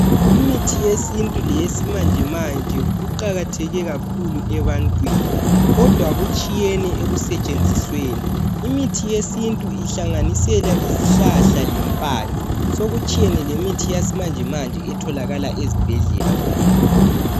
Imithi yesintu leyesimanjemanje kuqakatheke kakhulu ebantwini, kodwa kutshiyene ekusetshenzisweni. Imithi yesintu ihlanganisela izihlahla lempande, sokutshiyene lemithi yamanjemanje etholakala ezibhedlela kuphela.